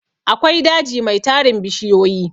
akwai daji Mai tarin bishiyoyi